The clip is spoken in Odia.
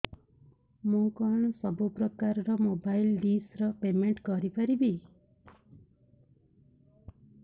ମୁ କଣ ସବୁ ପ୍ରକାର ର ମୋବାଇଲ୍ ଡିସ୍ ର ପେମେଣ୍ଟ କରି ପାରିବି